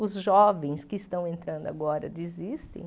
Os jovens que estão entrando agora desistem?